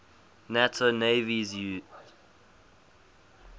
nato navies use